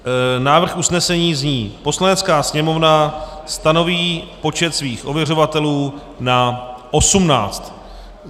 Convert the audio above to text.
Návrh usnesení zní: "Poslanecká sněmovna stanoví počet svých ověřovatelů na osmnáct."